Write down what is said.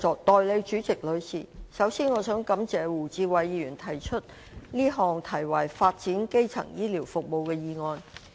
代理主席，首先，我想感謝胡志偉議員提出這項題為"發展基層醫療服務"的議案。